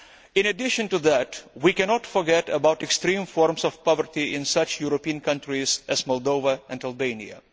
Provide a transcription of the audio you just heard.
In addition to that, we cannot forget about extreme forms of poverty in such European countries as Moldova and Albania.